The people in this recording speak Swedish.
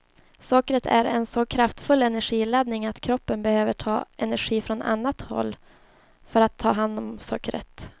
Sockret är en så kraftfull energiladdning att kroppen behöver ta energi från annat håll för att ta hand om sockret.